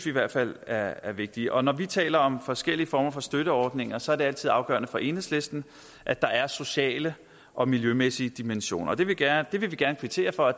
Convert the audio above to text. i hvert fald er er vigtigt og når vi taler om forskellige former for støtteordninger så er det altid afgørende for enhedslisten at der er sociale og miljømæssige dimensioner vi vil gerne vil gerne kvittere for at